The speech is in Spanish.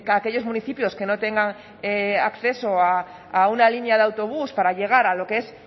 aquellos municipios que no tengan acceso a una línea de autobús para llegar a lo que es